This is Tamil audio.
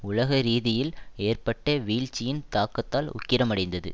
உலக ரீதியில் ஏற்பட்ட வீழ்ச்சியின் தாக்கத்தால் உக்கிரமடைந்தது